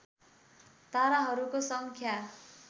ताराहरूको सङ्ख्या